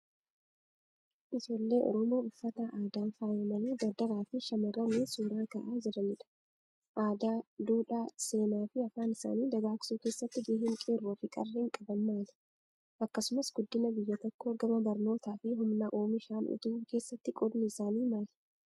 Ijoollee Oromoo uffata aadaan faayamanii dardaraa fi shamarraniin suuraa ka'aa jiranidha. Aadaa, duudhaa, seenaa fi afaan isaanii dagaagsuu keessatti gaheen qeerroo fi qarreen qaban maali? Akkasumas guddina biyya tokkoo gama barnootaa fi humna oomishaan utubuu keessatti qoodni isaanii maali?